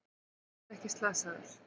Þú ert ekkert slasaður.